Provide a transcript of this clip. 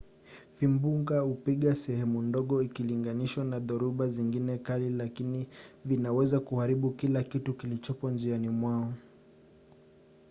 vimbunga hupiga sehemu ndogo ikilinganishwa na dhoruba zingine kali lakini vinaweza kuharibu kila kitu kilichopo njiani mwao